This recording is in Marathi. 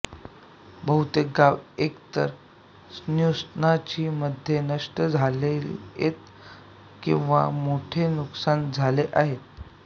बहुतेक गावे एकतर त्सुनामी मध्ये नष्ट झालीएत किवा मोठे नुकसान झाले आहे